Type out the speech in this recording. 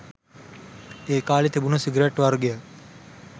ඒ කාලේ තිබුණු සිගරට් වර්ගයක්.